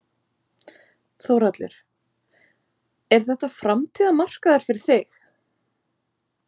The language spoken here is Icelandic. Þórhallur: Er þetta framtíðarmarkaður fyrir þig?